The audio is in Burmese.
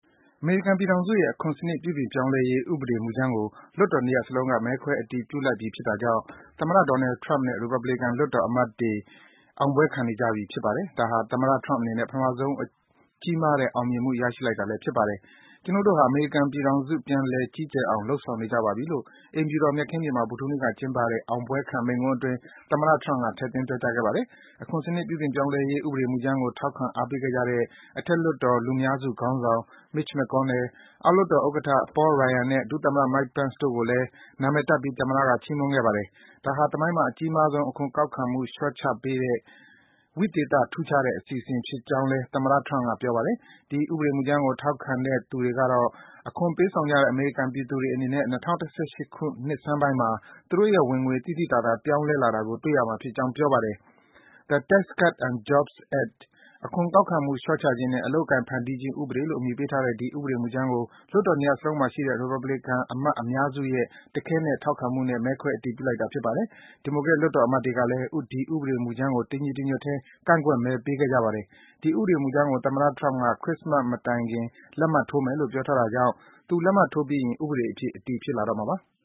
အမေရိကန်ပြည်ထောင်စုရဲ့ အခွန်စံနစ် ပြုပြင်ပြောင်းလဲရေး ဥပဒေမူကြမ်းကို လွှတ်တော် ၂ ရပ်စလုံးက မဲခွဲဆုံးဖြတ် အတည်ပြုလိုက်ပြီ ဖြစ်တာကြောင့် သမ္မတ Donald Trump နဲ့ ရီပတ်ဘလီကန် လွှတ်တော်အမတ်တွေ အောင်ပွဲခံနေကြပြီ ဖြစ်ပါတယ်။ ဒါဟာ သမ္မတ Trump အနေနဲ့ ပထမဆုံး ကြီးမားတဲ့ အောင်မြင်မှု ရရှိလိုက်တာလည်း ဖြစ်ပါတယ်။ “ကျွနု်ပ်တို့ဟာ အမေရိကန်ပြည်ထောင်စု ပြန်လည် ကြီးကျယ်အောင် လုပ်ဆောင် နေကြပါပြီ” လို့ အိမ်ဖြူတော် မျက်ခင်းပြင်မှာ ဗုဒ္ဓဟူးနေ့က ကျင်းပတဲ့ အောင်ပွဲခံ မိန့်ခွန်းအတွင်း သမ္မတ Trump က ထည့်သွင်း ပြောကြားခဲ့ပါတယ်။ အခွန်စံနစ် ပြုပြင်ပြောင်းလဲရေး ဥပဒေမူကြမ်းကို ထောက်ခံ အားပေးခဲ့ကြတဲ့ အထက်လွှတ်တော် လူများစုခေါင်းဆောင် Mitch McConnell ၊ အောက်လွှတ်တော် ဥက္ကဋ္ဌ Paul Ryan နဲ့ ဒုသမ္မတ Mike Pence တို့ကိုလည်း နံမည်တပ်ပြီး သမ္မတက ချီးမွမ်းခဲ့ပါတယ်။ ဒါဟာ သမိုင်းမှာ အကြီးမားဆုံး အခွန်ကောက်ခံမှု လျော့ချပေးတဲ့ ဝိသေသ ထူးခြားတဲ့ အစီအစဉ် ဖြစ်ကြောင်းလည်း သမ္မတ Trump က ပြောပါတယ်။ ဒီ ဥပဒေမူကြမ်းကို ထောက်ခံတဲ့သူတွေကတော့ အခွန်ပေးဆောင်ကြတဲ့ အမေရိကန် ပြည်သူတွေ အနေနဲ့ ၂၀၁၈ ခုနှစ်ဆန်းပိုင်းမှာ သူတို့ရဲ့ ဝင်ငွေတွေ သိသိသာသာ ပြောင်းလဲနေတာကို တွေ့ကြရမှာ ဖြစ်ကြောင်း ပြောပါတယ်။ “အခွန်ကောက်ခံမှုလျှော့ချခြင်းနဲ့ အလုပ်အကိုင် ဖန်တီးခြင်း ဥပဒေ” လို့ အမည်ပေးထားတဲ့ ဒီ ဥပဒေမူကြမ်းကို လွှတ်တော် ၂ ရပ်စလုံးမှာရှိတဲ့ ရီပတ်ဘလီကန်အမတ် အများစုရဲ့ တခဲနက် ထောက်ခံမှုနဲ့ မဲခွဲ အတည်ပြုလိုက်တာ ဖြစ်ပါတယ်။ ဒီမိုကရက် လွှတ်တော် အမတ်တွေကတော့ ဒီဥပဒေ မူကြမ်းကို တညီတညွတ်ထဲ ကန့်ကွက်မဲပေးခဲ့ကြပါတယ်။ ဒီဥပဒေ မူကြမ်းကို သမ္မတ Trump က ခရစ္စမတ် မတိုင်ခက် လက်မှတ်ထိုးမယ်လို့ ပြောထားတာကြောင့် သူ လက်မှတ်ထိုးပြီးရင် ဥပဒေအဖြစ် အတည်ဖြစ်လာတော့မှာပါ။